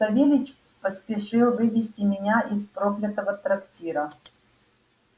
савельич поспешил вывезти меня из проклятого трактира